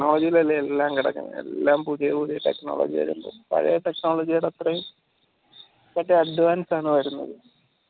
technology ലല്ലേ എല്ലാം കിടക്കുന്നെ എല്ലാം പുതിയെ പുതിയെ technology വരുമ്പോ പഴേ technology ടെ അത്രയും advanced ആണ് വരുന്നത്